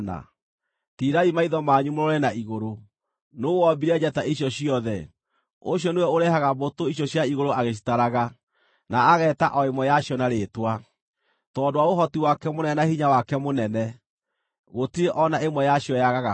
Tiirai maitho manyu mũrore na igũrũ: Nũũ wombire njata icio ciothe? Ũcio nĩwe ũrehaga mbũtũ icio cia igũrũ agĩcitaraga, na ageeta o ĩmwe yacio na rĩĩtwa. Tondũ wa ũhoti wake mũnene na hinya wake mũnene, gũtirĩ o na ĩmwe yacio yagaga ho.